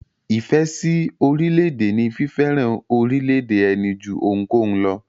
Ìfẹ́ sí orílẹ̀-èdè ní fífẹ́ràn orílẹ̀-èdè ẹni jú ohunkóhun lọ.